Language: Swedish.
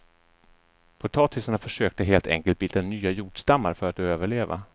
Potatisarna försökte helt enkelt bilda nya jordstammar för att överleva.